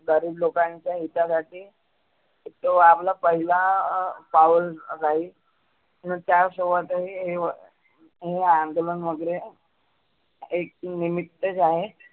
गरिब लोकांच्या हितासाठी जो आपला पहिला अं पाऊल राहील तर त्या शेवटही हे हे अंदोलन वगैरे एक निमीत्त जे आहे